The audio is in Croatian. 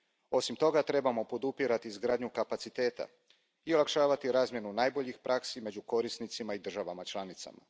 Osim toga, trebamo podupirati izgradnju kapaciteta i olakšavati razmjenu najboljih praksi među korisnicima i državama članicama.